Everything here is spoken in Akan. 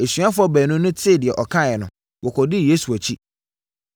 Asuafoɔ baanu no tee deɛ ɔkaeɛ no, wɔkɔdii Yesu akyi.